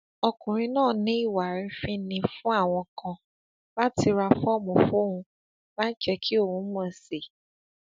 ọkùnrin náà ní ìwà àrífín ni fún àwọn kan láti ra fọọmù fóun láì jẹ kí òun mọ sí i